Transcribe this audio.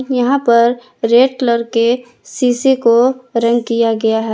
यहाँ पर red colour के शीशे को रंग किया गया है।